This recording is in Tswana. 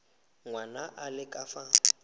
ngwana a le ka fa